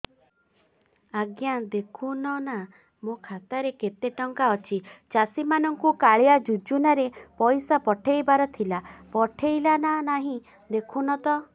ଆଜ୍ଞା ଦେଖୁନ ନା ମୋର ଖାତାରେ କେତେ ଟଙ୍କା ଅଛି ଚାଷୀ ମାନଙ୍କୁ କାଳିଆ ଯୁଜୁନା ରେ ପଇସା ପଠେଇବାର ଥିଲା ପଠେଇଲା ନା ନାଇଁ ଦେଖୁନ ତ